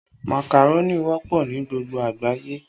Màkàrónì wọ́pọ̀ ní gbogbo àgbáyé